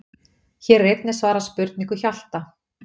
Hér er einnig svarað spurningu Hjalta: